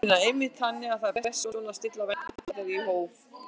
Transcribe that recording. Una: Einmitt, þannig að það er best svona að stilla væntingunum í hóf?